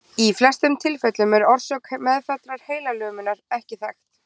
Í flestum tilfellum er orsök meðfæddrar heilalömunar ekki þekkt.